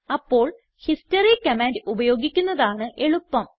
അപ്പോൾ history command ഉപയോഗിക്കുന്നതാണ് എളുപ്പം